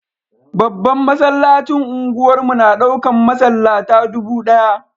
Babban masallacin unguwar mu na daukan masallata dubu daya.